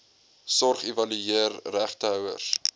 sorg evalueer regtehouers